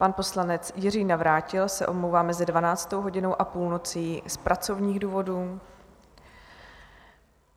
Pan poslanec Jiří Navrátil se omlouvá mezi 12. hodinou a půlnocí z pracovních důvodů.